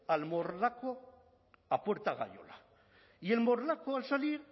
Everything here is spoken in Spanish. al morlaco a puerta gayola y el morlaco al salir